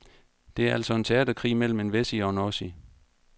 Det er altså en teaterkrig mellem en wessie og en ossie.